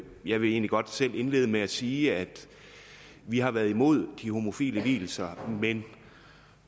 jeg vil egentlig godt selv indlede med at sige at vi har været imod de homofile vielser men